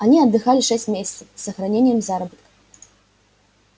они отдыхали шесть месяцев с сохранением заработка